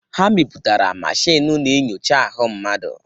Ha mepụtara mashin na-enyocha ahụ mmadụ.